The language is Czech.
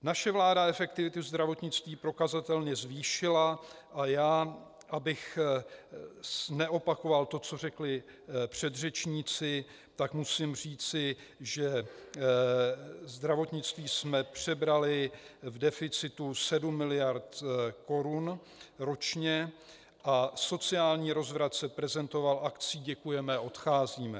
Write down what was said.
Naše vláda efektivitu zdravotnictví prokazatelně zvýšila a já, abych neopakoval to, co řekli předřečníci, tak musím říci, že zdravotnictví jsme přebrali v deficitu 7 miliard korun ročně a sociální rozvrat se prezentoval akcí "Děkujeme, odcházíme!".